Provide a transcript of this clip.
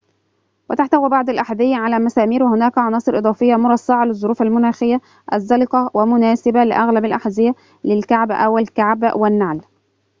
وتحتوي بعض الأحذية على مسامير وهناك عناصر إضافية مرصعة للظروف المناخية الزلقة ومناسبة لأغلب الأحذية للكعب أو الكعب والنعل